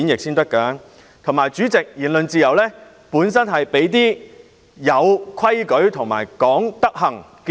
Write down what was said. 再者，代理主席，言論自由本身是適用於守規矩和講德行的人。